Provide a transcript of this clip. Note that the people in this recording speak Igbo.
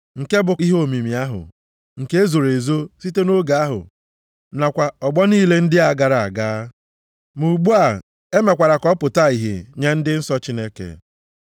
Nke bụ ihe omimi ahụ, nke e zoro ezo site nʼoge ahụ nakwa ọgbọ niile ndị a gara aga, ma ugbu a e mekwara ka ọ pụta ìhè nye ndị nsọ Chineke.